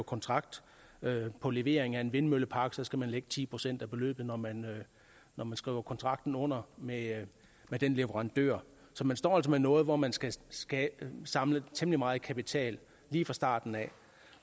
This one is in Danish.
kontrakt på levering af en vindmøllepark at skulle lægge ti procent af beløbet når man når man skriver kontrakten under med den leverandør så man står altså med noget hvor man skal skal samle temmelig meget kapital lige fra starten af